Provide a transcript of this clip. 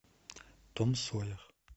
том сойер